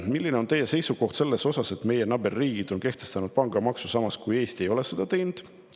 Milline on teie seisukoht selles suhtes, et meie naaberriigid on kehtestanud pangamaksu, samas kui Eesti ei ole seda teinud?